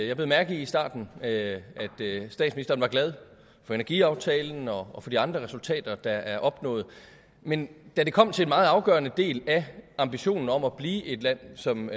jeg bed mærke i i starten at statsministeren er glad for energiaftalen og for de andre resultater der er opnået men da det kom til en meget afgørende del af ambitionen om at blive et land som